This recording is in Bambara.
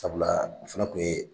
Sabula a fana tun ye